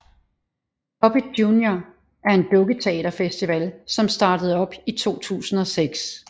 Puppet Junior er en dukketeaterfestival som startede op i 2006